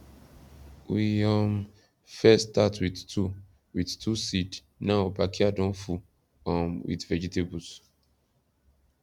we um first start with two with two seednow backyard don full um with vegetables